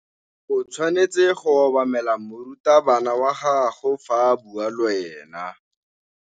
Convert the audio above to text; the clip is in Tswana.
O tshwanetse go obamela morutabana wa gago fa a bua le wena.